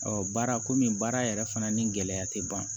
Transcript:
baara komi baara yɛrɛ fana ni gɛlɛya tɛ ban